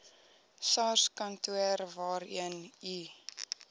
sarskantoor waarheen u